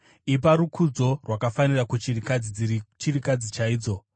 Ipa rukudzo rwakafanira kuchirikadzi dziri chirikadzi chaidzo.